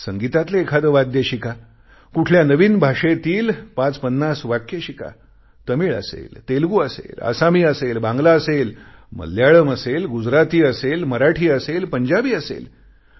संगीतातले एखादे वाद्य शिका कुठल्या नवीन भाषेतली 550 वाक्य शिका तामिळ असेल तेलगू असेल आसामी असेल बांगला असेल मल्याळम असेल गुजराती असेल मराठी असेल पंजाबी असेल